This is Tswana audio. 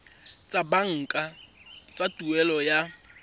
tsa banka tsa tuelo ya